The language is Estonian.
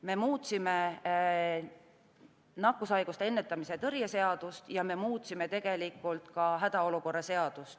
Me muutsime nakkushaiguste ennetamise ja tõrje seadust ning me muutsime ka hädaolukorra seadust.